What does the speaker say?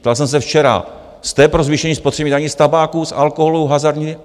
Ptal jsem se včera: Jste pro zvýšení spotřebních daní z tabáku, z alkoholu, hazardu?